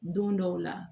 Don dɔw la